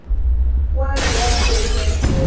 poelo ya bobedi ya tuelo